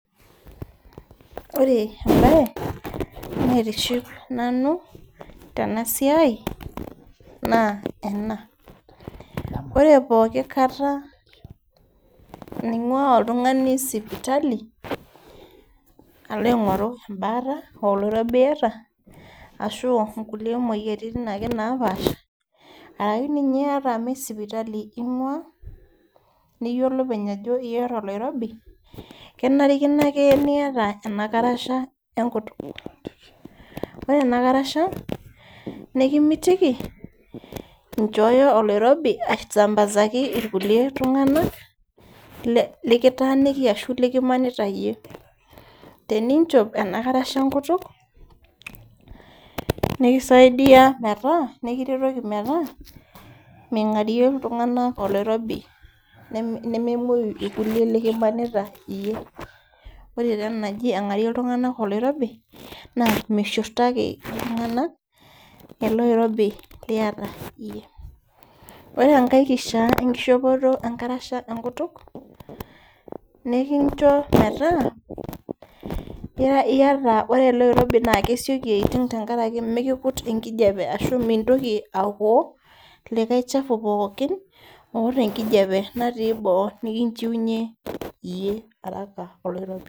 Ore embaye naitiship nanu tena siai naa ena ore pooki kata nang'ua oltung'ani sipitali alo aing'oru embaata aa oloirobi iyata ashu nkulie moyiaritin ake napaasha arake ninye ata me sipitali ing'ua niyiolo openy ajo iyata oloirobi kenarikino ake niyata ena karasha enkutuk ore ena karasha nekimitiki inchooyo oloirobi aesambazaki irkulie iltung'anak le lekitaaniki ashu likimanita iyie teninchop ena karasha enkutuk nikisaidia metaa nekiretoki metaa ming'arie iltung'anak oloirobi nememuoi ilkulie likimanita iyie ore taa ena naji ang'arie iltung'anak oloirobi naa mishurtaki iltung'anak ele oirobi liyata iyie ore enkae kishia enkishopoto enkarasha enkutuk nekincho metaa ira ore ele oirobi naa kesioki aiting tenkaraki mikikut enkijape ashu mintoki aokoo likae chau pookin oota enkijape eboo nikinchiunyie iyie araka oloirobi.